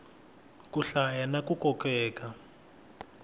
ku hlaya na ku kokeka